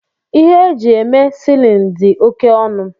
Ihe e ji eme silini di oke onu